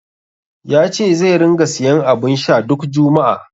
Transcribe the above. Ya ce zai ringa siyan abun sha duk juma'a.